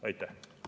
Aitäh!